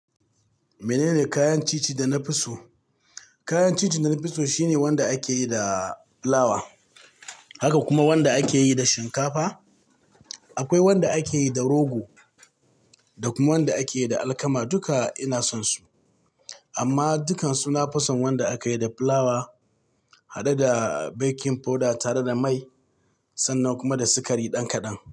Menene kayan ci ci da na fi so? Kayan ci ci da na fi so shine wanda akeyi da fulawa, haka kuma wanda akeyi da shinkafa. Akwai wanda akeyi da rogo, da kuma wanda akeyi da alkama duka ina son su. Amma dukansu na fison wanda aka yi da fulawa haɗe da baking powder tare da mai sannan kuma da sikari dan kaɗan.